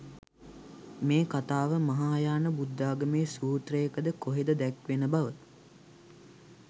මේ කතාව මහායාන බුද්ධාගමේ සූත්‍රයක ද කොහෙද දැක්වෙන බව.